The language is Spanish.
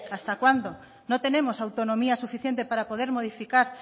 hasta cuándo no tenemos autonomía suficiente para poder modificar